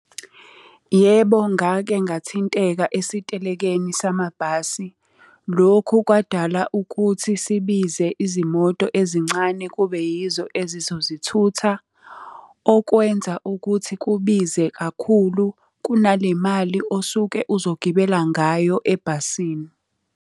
Yebo ngake ngathinteka esitelekeni samabhasi. Lokhu kwadala ukuthi sibize izimoto ezincane kube yizo ezizosithutha, okwenza ukuthi kubize kakhulu kunale mali osuke uzogibela ngayo ebhasini.